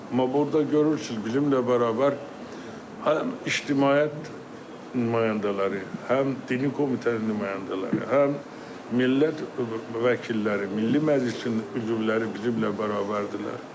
Amma burda görürsünüz, bizimmlə bərabər həm ictimaiyyət nümayəndələri, həm dini komitənin nümayəndələri, həm millət vəkilləri, Milli Məclisin üzvləri bizimmlə bərabərdirlər.